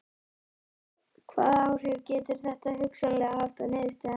Hvaða áhrif getur þetta hugsanlega haft á niðurstöðurnar?